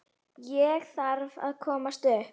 Ég þarf að komast upp.